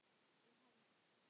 ég held